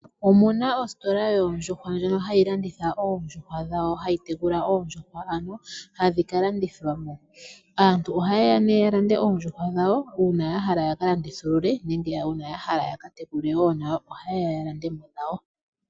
Omuna ositola yoondjuhwa ndjono hayi landitha oondjuhwa dhawo, hayi tekula oondjuhwa ano hadhi kalandithwa mo. Aantu ohaye ya nee ya lande oondjuhwa dhawo uuna yahala ya ka landithulule nenge uuna yahala yakatekule wo nayo ohaye ya yalande mo dhawo.